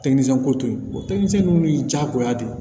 ko to yen o tɛmɛnen diyagoya de